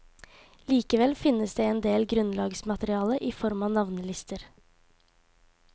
Likevel finnes det en del grunnlagsmateriale i form av navnelister.